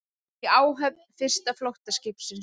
Í áhöfn fyrsta flóttaskipsins